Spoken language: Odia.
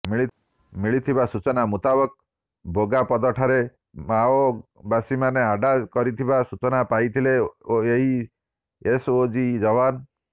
ମିଳିଥିବା ସୂଚନା ମୁତାବକ ବୋଗାପଦ ଠାରେ ମାଓବାସୀମାନେ ଆଡ୍ଡା କରିଥିବା ସୂଚନା ପାଇଥିଲେ ଏହି ଏସଓଜି ଯବାନ